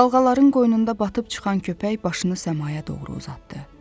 Dalğaların qoynunda batıb çıxan köpək başını səmaya doğru uzatdı.